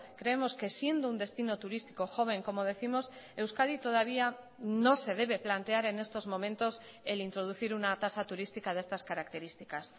creemos que siendo un destino turístico joven como décimos euskadi todavía no se debe plantear en estos momentos el introducir una tasa turística de estas características